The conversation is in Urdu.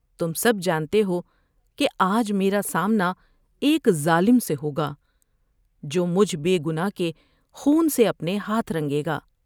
تم سب جانتے ہو کہ آج میرا سامنا ایک ظالم سے ہوگا جو مجھ بے گناہ کے خون سے اپنے ہاتھ رنگے گا ۔